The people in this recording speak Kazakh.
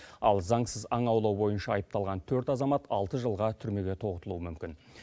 ал заңсыз аң аулау бойынша айыпталған төрт азамат алты жылға түрмеге тоғытылуы мүмкін